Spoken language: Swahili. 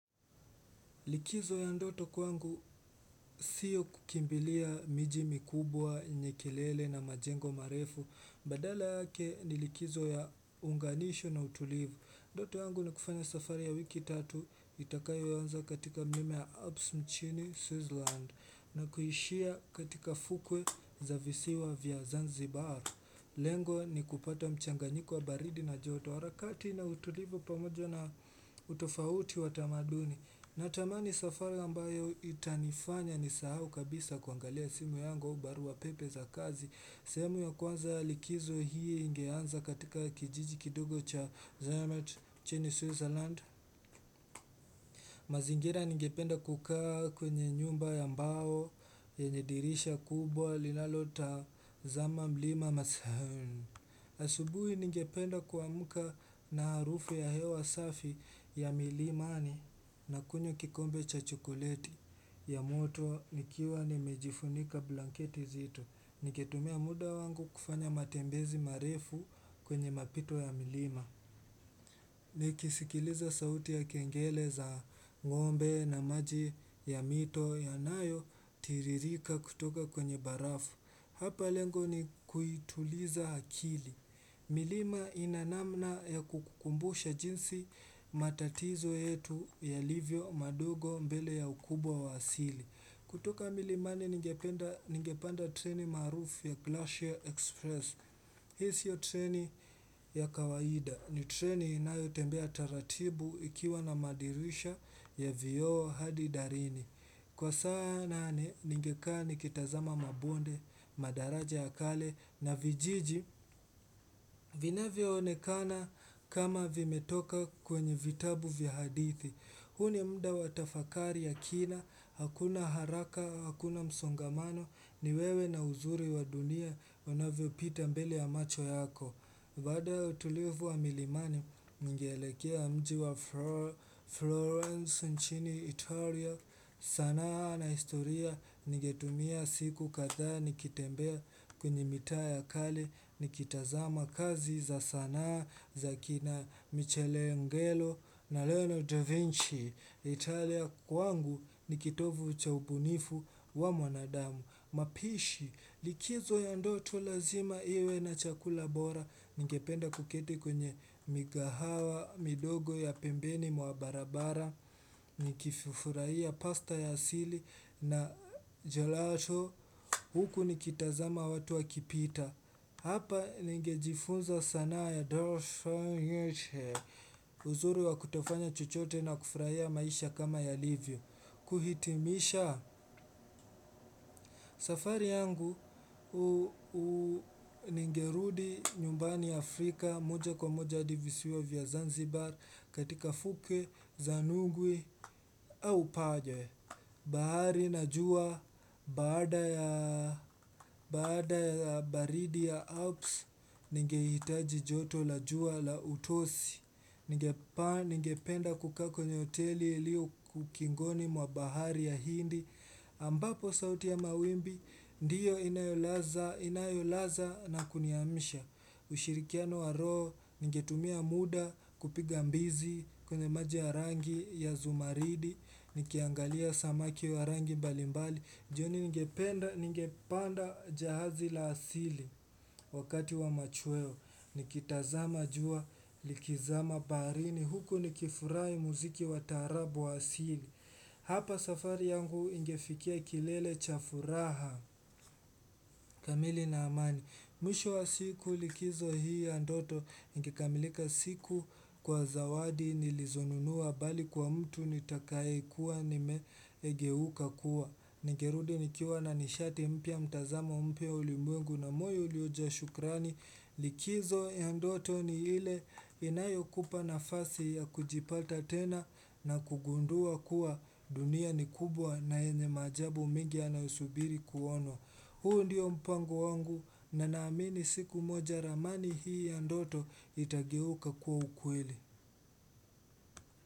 Likizo ya ndoto kwangu sio kukimbilia miji mikubwa, yenye kelele na majengo marefu badala yake ni likizo ya uunganisho na utulivu ndoto yangu ni kufanya safari ya wiki tatu itakayo anza katika mime ya abs chini Swizland na kuishia katika fukwe za visiwa vya zanzibar lengo ni kupata mchanganyiko wa baridi na joto harakati na utulivu pamojo na utofauti wa tamaduni Natamani safari ambayo itanifanya nisahau kabisa kuangalia simu yangu au barua pepe za kazi semu ya kwanza likizo hii ingeanza katika kijiji kidogo cha zayamat nchini Switzerland mazingira ningependa kukaa kwenye nyumba ya mbao yenye dirisha kubwa linalotazama mlima masahun asubuhi ningependa kuamuka na harufu ya hewa safi ya milimani na kunywa kikombe cha chokoleti ya moto nikiwa nimejifunika blanketi nzito. Nikitumia muda wangu kufanya matembezi marefu kwenye mapito ya milima. Nikisikiliza sauti ya kengele za ngombe na maji ya mito yanayotiririka kutoka kwenye barafu. Hapa lengo ni kuituliza akili. Milima ina namna ya kukumbusha jinsi matatizo yetu yalivyo mandogo mbele ya ukubwa wa asili. Kutoka milimani ningepanda treni maarufu ya Glashier Express. Hii sio treni ya kawaida. Ni treni inayotembea taratibu ikiwa na madirisha ya vioo hadi darini. Kwa saa nane ningekaa nikitazama mabonde, madaraja ya kale na vijiji vinavyoonekana kama vimetoka kwenye vitabu vya hadithi. Huu ni muda wa tafakari ya kina, hakuna haraka, hakuna msongamano, ni wewe na uzuri wa dunia unavyo pita mbele ya macho yako. Baada ya utulivu wa milimani ningeelekea mji wa Florence nchini Italia sanaa na historia nigetumia siku kadhaa nikitembea kwenye mitaa ya kale nikitazama kazi za sanaa za kina Michele Ngelo na Lionel Da Vinci Italia kwangu nikitovu cha ubunifu wa mwanadamu. Mapishi, likizo ya ndoto lazima iwe na chakula bora Ningependa kuketi kwenye mikahawa, mindogo ya pembeni mwa barabara Nikifurahia pasta ya siri na jolato Huku nikitazama watu wa kipita Hapa ningejifunza sanaa ya dorsha nyeche Uzuru wa kutofanya chochote na kufurahia ya maisha kama yalivyo kuhitimisha safari yangu ningerudi nyumbani Afrika moja kwa moja hadi visiwa vya Zanzibar katika fukwe za nugwe au paje. Bahari na jua, baada ya baridi ya Alps, ningehitaji joto la jua la utosi. Ningependa kukaa kwenye hoteli iliyo ukingoni mwa bahari ya hindi. Ambapo sauti ya mawimbi, ndiyo inayolaza na kuniamsha ushirikiano wa roho, ningetumia muda kupiga mbizi kwenye maja ya rangi ya zumaridi, nikiangalia samaki wa rangi mbalimbali jioni ningependa, ningepanda jahazi la asili wakati wa machweo Nikitazama jua likizama baharini Huku nikifurai muziki watarabu wa asili Hapa safari yangu ingefikia kilele cha furaha kamili na amani Mwisho wa siku likizo hii ya ndoto ingekamilika siku kwa zawadi nilizonunua mbali kwa mtu nitakaye kuwa nimegeuka kuwa Ningerudi nikiwa na nishati mpya mtazamo mpya ulimwengu na moyo uliojaa shukrani likizo ya ndoto ni ile inayokupa nafasi ya kujipata tena na kugundua kuwa dunia ni kubwa na yenye maajabu mengi yanayo subiri kuonwa. Huu ndio mpango wangu na naamini siku moja ramani hii ya ndoto itageuka kuwa ukweli.